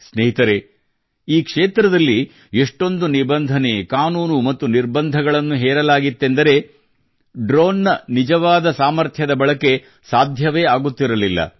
ಸ್ನೇಹಿತರೇ ಈ ಕ್ಷೇತ್ರದಲ್ಲಿ ಎಷ್ಟೊಂದು ನಿಬಂಧನೆ ಕಾನೂನು ಮತ್ತು ನಿರ್ಬಂಧಗಳನ್ನು ಹೇರಲಾಗಿತ್ತೆಂದರೆ ಡ್ರೋನ್ ನ ನಿಜವಾದ ಸಾಮರ್ಥ್ಯದ ಬಳಕೆ ಸಾಧ್ಯವೇ ಆಗುತ್ತಿರಲಿಲ್ಲ